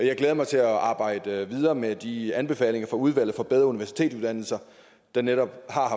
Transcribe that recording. jeg glæder mig til at arbejde videre med de anbefalinger fra udvalg om bedre universitetsuddannelser der netop har